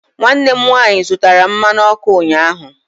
Nwanne m nwaanyị zụtara mmanụ ọkụ ụnyahụ.